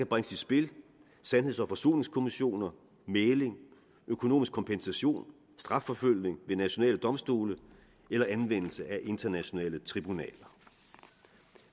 bringes i spil sandheds og forsoningskommissioner mægling økonomisk kompensation strafforfølgning ved nationale domstole eller anvendelse af internationale tribunaler